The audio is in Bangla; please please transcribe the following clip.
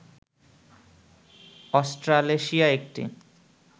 অস্ট্রালেশিয়া একটি